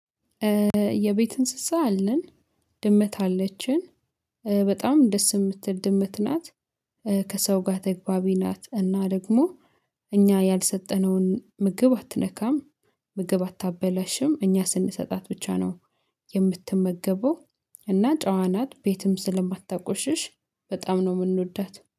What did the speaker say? የቤት እንስሳ አለ፤ ድመት አለችን በጣም ደስ የምትል ድመት ናት፤ ከሰው ጋር ተግባቢ ናት እና ደግሞ እኛ ያልሰጠነውን ምግብ አትነካም፤ ምግብ አታበላሽም፤ እኛ ስንሰጣት ብቻ ነው የምትመገበው፤ እና ጫዋ ናት ቤትም ስለማታቆሽሽ በጣም ነው የምንወዳት።